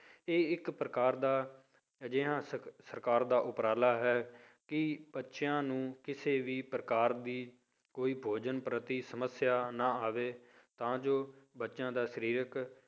ਇਹ ਇੱਕ ਪ੍ਰਕਾਰ ਦਾ ਅਜਿਹਾ ਸ~ ਸਰਕਾਰ ਦਾ ਉਪਰਾਲਾ ਹੈ ਕਿ ਬੱਚਿਆਂ ਨੂੰ ਕਿਸੇ ਵੀ ਪ੍ਰਕਾਰ ਦੀ ਕੋਈ ਭੋਜਨ ਪ੍ਰਤੀ ਸਮੱਸਿਆ ਨਾ ਆਵੇ, ਤਾਂ ਜੋ ਬੱਚਿਆਂ ਦਾ ਸਰੀਰਕ